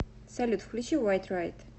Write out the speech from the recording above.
салют включи вайт райт